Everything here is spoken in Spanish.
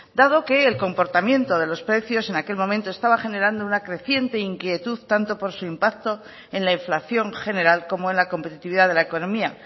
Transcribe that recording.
dado que el comportamiento de los precios en aquel momento estaba generando una creciente inquietud tanto por su impacto en la inflación general como en la competitividad de la economía